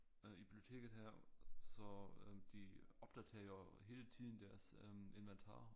Øh i biblioteket her så øh de opdaterer jo hele tiden deres øh inventar